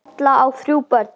Erla á þrjú börn.